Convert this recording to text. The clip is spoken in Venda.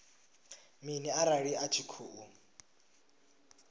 mini arali a tshi khou